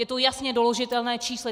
Je to jasně doložitelné číslo.